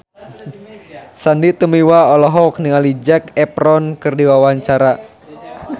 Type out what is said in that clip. Sandy Tumiwa olohok ningali Zac Efron keur diwawancara